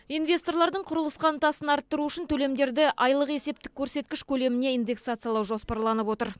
инвесторлардың құрылысқа ынтасын арттыру үшін төлемдерді айлық есептік көрсеткіш көлеміне индексациялау жоспарланып отыр